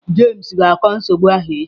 Jame ga-akọ nsogbu ahụ echi.